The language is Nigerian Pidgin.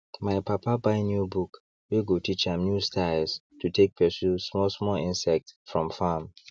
my papa buy new book wey go teach am new styles to take pursue small small insects from farm